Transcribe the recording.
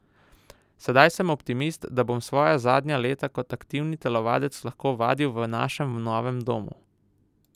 Sedaj sem optimist, da bom svoja zadnja leta kot aktivni telovadec lahko vadil v našem novem domu.